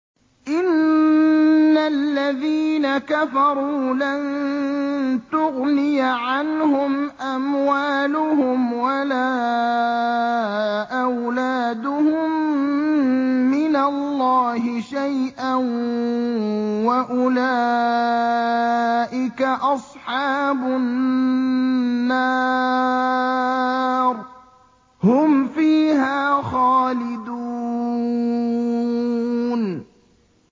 إِنَّ الَّذِينَ كَفَرُوا لَن تُغْنِيَ عَنْهُمْ أَمْوَالُهُمْ وَلَا أَوْلَادُهُم مِّنَ اللَّهِ شَيْئًا ۖ وَأُولَٰئِكَ أَصْحَابُ النَّارِ ۚ هُمْ فِيهَا خَالِدُونَ